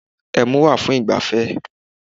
Ẹmu wà fún ìgbafẹ́